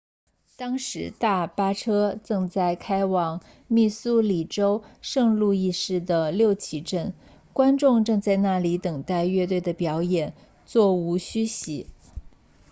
当时大巴车正在开往密苏里州圣路易市的六旗镇观众正在那里等待乐队的表演座无虚席